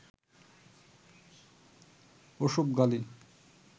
ওসব গালি